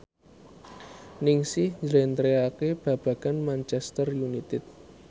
Ningsih njlentrehake babagan Manchester united